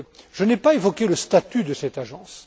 Je n'ai pas évoqué le statut de cette agence.